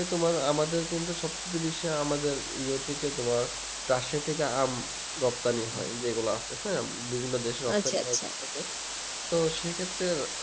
তোমার আমাদের কিন্তু সবচায়তে বেশি আমাদের ইয়ে থেকে তোমার রাশিয়া থেকে আম রপ্তানি হয় যে গুলা আসতেছে বিভিন্ন দেশে তো সেই ক্ষেত্রে